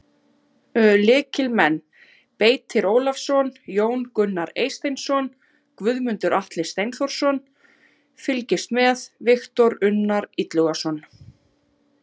Lykilmenn: Beitir Ólafsson, Jón Gunnar Eysteinsson, Guðmundur Atli Steinþórsson: Fylgist með: Viktor Unnar Illugason.